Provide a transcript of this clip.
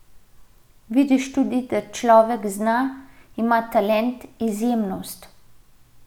Vidiš tudi, da človek zna, ima talent, izjemnost.